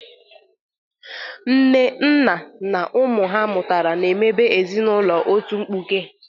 Nne, nna na ụmụ ha mụtara na-emebe ezinaụlọ otu mkpuke.